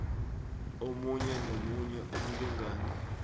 omunye nomunye umlingani